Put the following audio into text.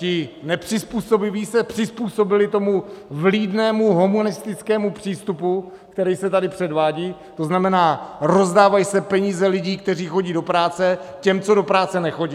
Ti nepřizpůsobiví se přizpůsobili tomu vlídnému humanistickému přístupu, který se tady předvádí, to znamená, rozdávají se peníze lidí, kteří chodí do práce, těm, co do práce nechodí.